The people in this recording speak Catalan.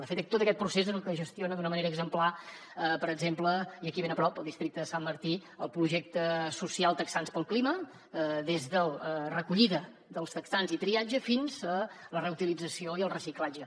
de fet tot aquest procés és el que gestiona d’una manera exemplar per exemple i aquí ben a prop al districte de sant martí el projecte social texans pel clima des de la recollida dels texans i triatge fins a la reutilització i el reciclatge